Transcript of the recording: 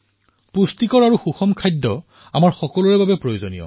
সন্তুলিত আৰু পোষক ভোজন আমাৰ সকলোৰে বাবে প্ৰয়োজনীয়